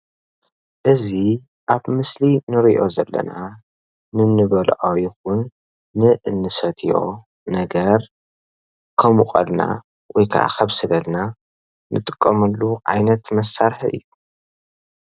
እዚ አብ ምስሊ ንሪኦ ዘለና ንንበልዖ ይኩን ንእንሰትዮ ነገር ከሙቀልና ወይ ከዓ ከብስለልና እንጥቀመሉ ዓይነት መሳርሒ እዩ።